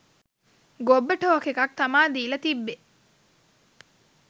ගොබ්බ talk එකක් තමා දීලා තිබ්බේ